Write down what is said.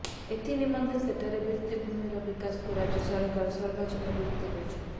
ଏଥିନିମନ୍ତେ ସେଠାରେ ଭିତ୍ତିଭୂମିର ବିକାଶକୁ ରାଜ୍ୟ ସରକାର ସର୍ବାଧିକ ଗୁରୁତ୍ୱ ଦେଇଛନ୍ତି